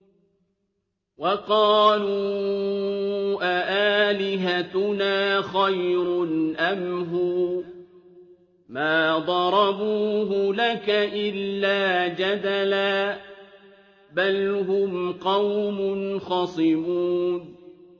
وَقَالُوا أَآلِهَتُنَا خَيْرٌ أَمْ هُوَ ۚ مَا ضَرَبُوهُ لَكَ إِلَّا جَدَلًا ۚ بَلْ هُمْ قَوْمٌ خَصِمُونَ